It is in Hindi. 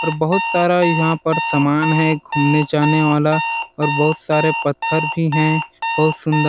और बहुत सारा यहाँ पर समान है घूमने जाने वाला और बहुत सारे पत्थर भी है बहुत सुन्दर --